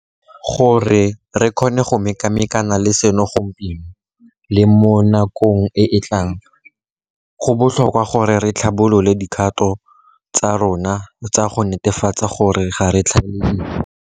Gore re kgone go mekamekana le seno gompieno le mo nakong e e tlang, go botlhokwa gore re tlhabolole dikgato tsa rona tsa go netefatsa gore ga re tlhaele dijo.